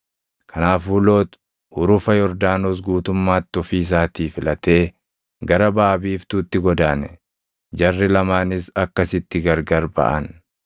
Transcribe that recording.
Kanaafuu Loox hurufa Yordaanos guutummaatti ofii isaatii filatee gara baʼa biiftuutti godaane. Jarri lamaanis akkasitti gargari baʼan.